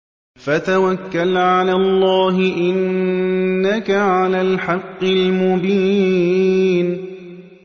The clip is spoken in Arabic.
فَتَوَكَّلْ عَلَى اللَّهِ ۖ إِنَّكَ عَلَى الْحَقِّ الْمُبِينِ